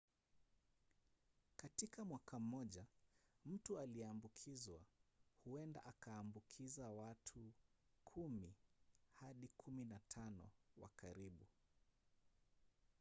katika mwaka mmoja mtu aliyeambukizwa huenda akaambukiza wato 10-15 wa karibu